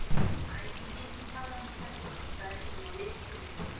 Æ, ég get ekki talað um það hérna sagði Nína og leit í kringum sig.